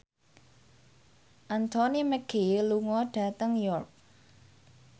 Anthony Mackie lunga dhateng York